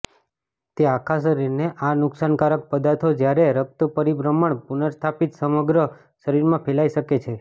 તે આખા શરીરને આ નુકસાનકારક પદાર્થો જ્યારે રક્ત પરિભ્રમણ પુનર્સ્થાપિત સમગ્ર શરીરમાં ફેલાઈ શકે છે